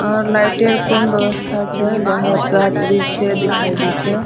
और लाइटें कम व्यवस्था छै | बाहर अ गाछ वृक्ष छै दिखाई दे छै ।